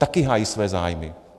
Taky hájí své zájmy.